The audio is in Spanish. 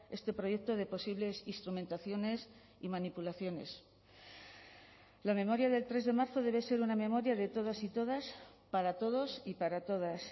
este proyecto de posibles instrumentaciones y manipulaciones la memoria del tres de marzo debe ser una memoria de todos y todas para todos y para todas